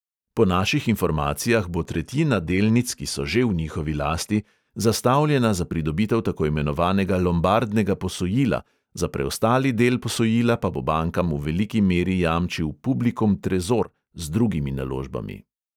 Po naših informacijah bo tretjina delnic, ki so že v njihovi lasti, zastavljena za pridobitev tako imenovanega lombardnega posojila, za preostali del posojila pa bo bankam v veliki meri jamčil publikum trezor z drugimi naložbami.